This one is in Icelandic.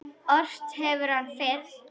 Ort hefur hann fyrr.